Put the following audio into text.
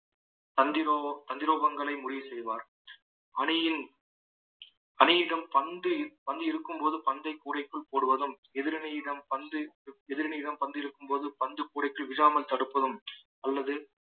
தந்திரோ~ தந்திரோபங்களை முடிவு செய்வார் அணியின் அணியிடம் பந்து பந்து இருக்கும்போது பந்தைக் கூடைக்குள் போடுவதும் எதிரணியிடம் பந்து எதிரணியிடம் பந்து இருக்கும்போது பந்து கூடைக்குள் விழாமல் தடுப்பதும் அல்லது